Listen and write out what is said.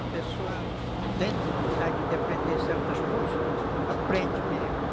A pessoa, tendo vontade de aprender certas coisas, aprende mesmo.